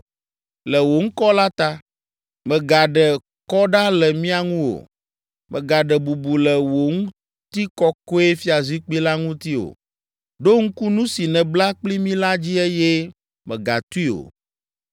Le wò ŋkɔ la ta, mègaɖe kɔ ɖa le mía ŋu o; mègaɖe bubu le wò ŋutikɔkɔefiazikpui la ŋuti o. Ɖo ŋku nu si nèbla kpli mí la dzi eye mègatui o.